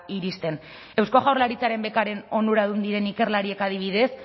iristen eusko jaurlaritzaren bekaren onuradun diren ikerlariek adibidez